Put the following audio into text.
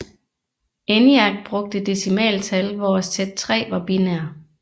ENIAC brugte decimaltal hvor Z3 var binær